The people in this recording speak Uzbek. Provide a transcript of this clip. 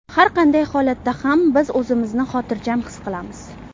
Har qanday holatda ham biz o‘zimizni xotirjam his qilamiz.